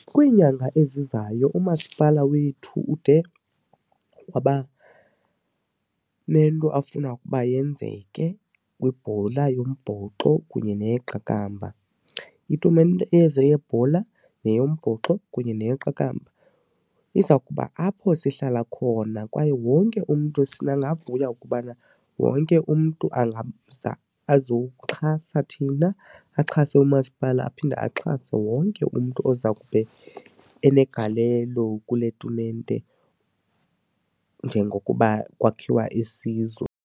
Kwiinyanga ezizayo umasipala wethu ude waba nento afuna ukuba yenzeke kwibhola yombhoxo kunye neyeqakamba. Itumente ezo yebhola yeyombhoxo kunye neyeqakamba iza kuba apho sihlala khona kwaye wonke umntu singavuya ukubana wonke umntu angaza azowuxhasa thina, axhase umasipala aphinde axhase wonke umntu oza kube enegalelo kule tumente njengokuba kwakhiwa isizwe.